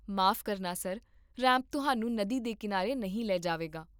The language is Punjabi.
ਮਾਫ਼ ਕਰਨਾ, ਸਰ, ਰੈਂਪ ਤੁਹਾਨੂੰ ਨਦੀ ਦੇ ਕੀਨਾਰੇ ਨਹੀਂ ਲੈ ਜਾਵੇਗਾ